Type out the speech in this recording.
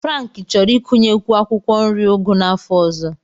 Frank chọrọ ịkụnyekwu akwụkwọ nri ụgụ n'afọ ọzọ.